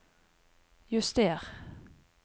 juster